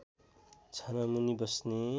छानामुनी बस्ने